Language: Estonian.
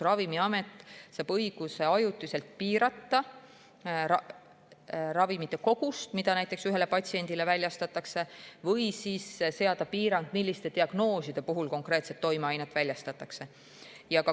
Ravimiamet saab õiguse ajutiselt piirata ravimite kogust, mida näiteks ühele patsiendile väljastatakse, või siis seada piirangu, milliste diagnooside puhul konkreetset toimeainet väljastatakse.